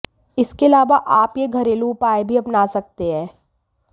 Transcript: इसके अलावा आप ये घरेलू उपाय भी अपना सकते हैं